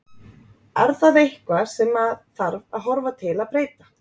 Er það eitthvað sem að þarf að horfa til að breyta?